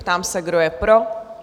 Ptám se, kdo je pro?